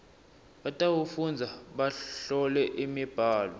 batawufundza bahlole imibhalo